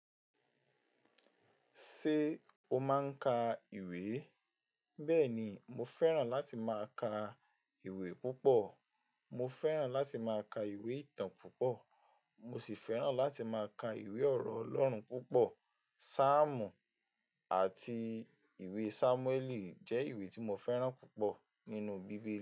Ṣé o máa ń ka ìwé? Bẹ́ẹ̀ni, mo fẹ́ràn láti máa ka ìwé púpọ̀. Mo fẹ́ràn láti máa ka ìwé ìtàn púpọ̀, mo sì fẹ́ràn láti máa ka ìwé ọ̀rọ̀ Ọlọ́run púpọ̀. Sáàmù àti ìwé Sámúẹ́lì jẹ́ ìwé tí mo fẹ́ràn púpọ̀ nínú bíbélì.